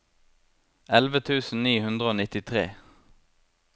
elleve tusen ni hundre og nittitre